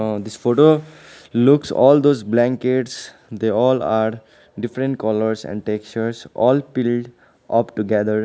uh this photo looks all those blankets they all are different colours and textures all pilled up together.